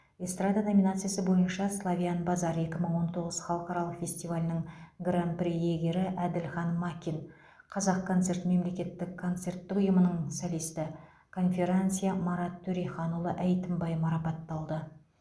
эстрада номинациясы бойынша славян базар екі мың он тоғыз халықаралық фестивалінің гран при иегері әділхан макин қазақконцерт мемлекеттік концерттік ұйымының солисті конферансье марат төреханұлы әйтімбай марапатталды